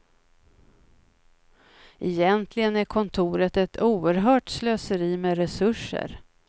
Egentligen är kontoret ett oerhört slöseri med resurser.